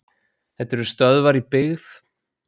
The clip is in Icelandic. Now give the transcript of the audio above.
þetta eru stöðvar í byggð